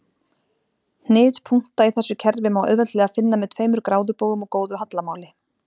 Hnit punkta í þessu kerfi má auðveldlega finna með tveimur gráðubogum og góðu hallamáli.